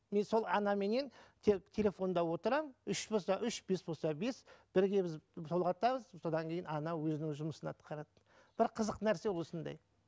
мен сол анаменен телефонда отырамын үш болса үш бес болса бес бірге біз толғатамыз содан кейін ана өзінің жұмысын атқарады бір қызық нәрсе осындай